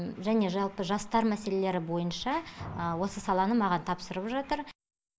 және жалпы жастар мәселелері бойынша осы саланы маған тапсырып жатыр